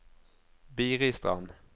Biristrand